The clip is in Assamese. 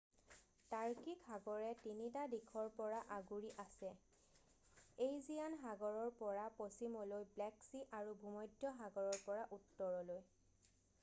টাৰ্কিক সাগৰে 3 টা দিশৰ পৰা আগুৰি আছে এইজিয়ান সাগৰৰ পৰা পশ্চিমলৈ ব্লেক চি আৰু ভূমধ্য সাগৰৰ পৰা উত্তৰলৈ